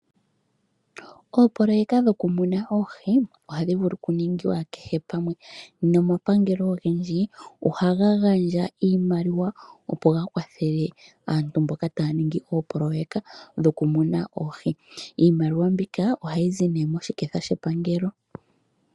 Opoloyeka dhokumuna oohi ohadhi vulu okuningwa kehe pamwe nomapangelo ogendji ohaga gandja iimaliwa, opo ga kwathele aantu mboka taya ningi oopoloyeka dhokumuna oohi. Iimaliwa mbika ohayi zi nduno moshiketha shepangelo.